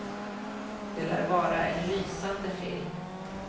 Det lär vara en lysande film.